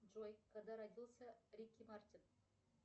джой когда родился рики мартин